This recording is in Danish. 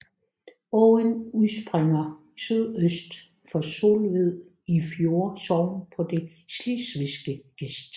Åen udspringer sydøst for Solved i Fjolde Sogn på den slesvigske gest